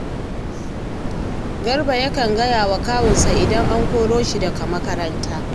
Garba yakan gaya wa kawunsa idan an koro shi daga makaranta